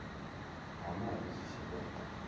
ha maḓi zwi tshi ḓo